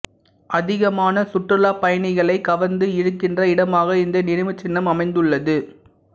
அதிகமான சுற்றுலாப் பயணிகளைக் கவர்ந்து இழுக்கின்ற இடமாக இந்த நினைவுச்சின்னம் அமைந்துள்ளது